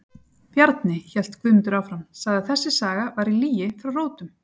Bjarni, hélt Guðmundur áfram, sagði að þessi saga væri lygi frá rótum.